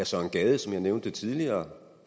søren gade som jeg nævnte tidligere og